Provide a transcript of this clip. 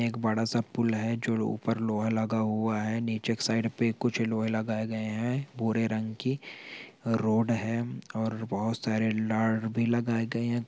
एक बड़ा-सा पुल है जो ऊपर लोहा लगा हुआ है नीचे के साइड पे कुछ लोहे लगाई गए है भूरे रंग की रोड है और बहोत सारे लार्ड भी लगाई गए है।